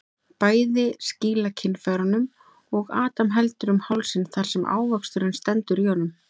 Bæði skýla kynfærunum og Adam heldur um hálsinn þar sem ávöxturinn stendur í honum.